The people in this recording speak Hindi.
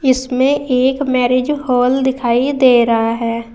इसमें एक मैरिज हॉल दिखाई दे रहा है।